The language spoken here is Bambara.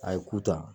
A ye ku ta